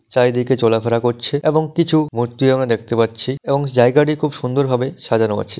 চারিদিকে চলাফেরা করছে এবং কিছু মূর্তি আমরা দেখতে পাচ্ছি এবং জায়গাটি খুব সুন্দরভাবে সাজানো আছে।